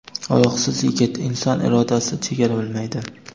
Oyoqsiz yigit: inson irodasi chegara bilmaydi.